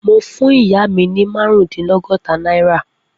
Mo fún ìyá mi ní márùndínlọ́gọ́ta náírà.